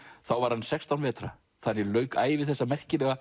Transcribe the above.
þá var hann sextán vetra þannig lauk ævi þessa merkilega